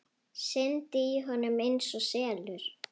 Syndi í honum einsog selur.